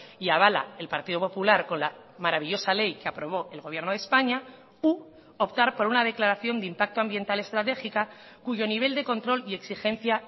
y avala el partido popular con la maravillosa ley que aprobó el gobierno de españa u optar por una declaración de impacto ambiental estratégica cuyo nivel de control y exigencia